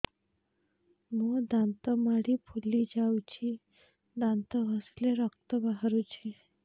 ମୋ ଦାନ୍ତ ମାଢି ଫୁଲି ଯାଉଛି ଦାନ୍ତ ଘଷିଲେ ରକ୍ତ ବାହାରୁଛି